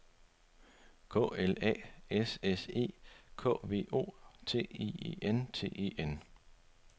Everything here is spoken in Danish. K L A S S E K V O T I E N T E N